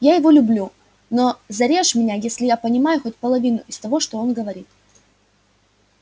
я его люблю но зарежь меня если я понимаю хоть половину из того что он говорит